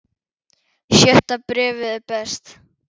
Sjötta bréfið er best.